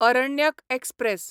Aranyak express